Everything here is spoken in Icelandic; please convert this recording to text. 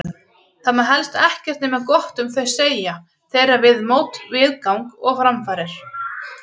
Þórður gefur mér bókina sína, Setið við sagnabrunn, með hlýlegri áletrun.